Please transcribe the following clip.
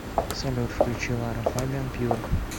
салют включи лара фабиан пьюр